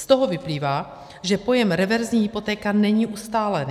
Z toho vyplývá, že pojem reverzní hypotéka není ustálený.